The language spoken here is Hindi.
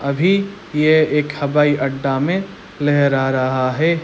अभी ये एक हवाई अड्डा मे लहरा रहा है।